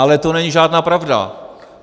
Ale to není žádná pravda.